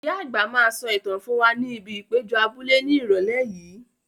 Ìyá àgbà máa sọ ìtàn fún wa ní ibi ìpéjọ abúlé ní Ìrọ̀lẹ́ yìí.